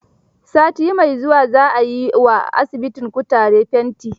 Sati mai zuwa za a yi wa asibitin kutaren fenti.